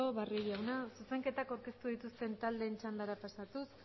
barrio jauna zuzenketa aurkeztu dituzten taldeen txandara pasatuz